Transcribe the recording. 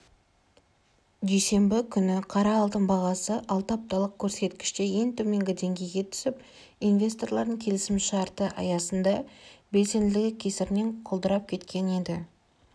дүйсенбі күні қара алтын бағасы алты апталық көрсеткіште ең төменгі деңгейге дейін түсіп инвесторлардың келісімшарты аясында белсенділігі кесірінен құлдырап кеткен еді